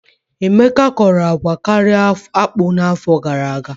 Emeka kọrọ agwa karịa akpụ n'afọ gara aga.